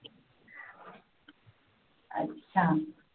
अच्छा